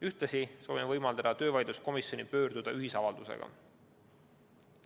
Ühtlasi soovime võimaldada töövaidluskomisjoni pöörduda ühisavaldusega.